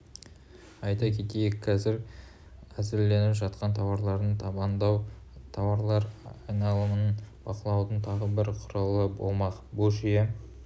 айта кетейік қазір әзірленіп жатқан тауарларды таңбалау тауарлар айналымын бақылаудың тағы бір құралы болмақ бұл жүйе